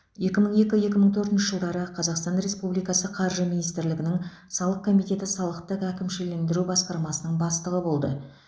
екі мың екі екі мың төртінші жылдары қазақстан республикасы қаржы министрлігінің салық комитеті салықтық әкімшілендіру басқармасының бастығы болды